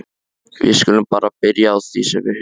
Við skulum bara byrja á því sem við höfum.